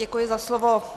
Děkuji za slovo.